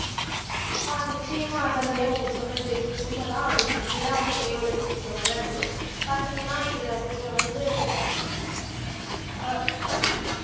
ஆஹ் நிச்சயமாக சந்தியா நீங்க சொன்னது உண்மைதான் அவரு இப்படித்தான் வந்து திரை உலகத்துக்குள்ள வர்றாரு பாத்தீங்கன்னா இவரை இவரை வந்து ஆஹ்